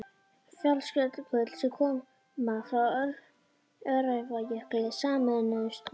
Fjallsjökull, sem koma frá Öræfajökli, sameinuðust honum.